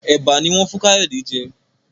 Eba no wón fún Kayode jé.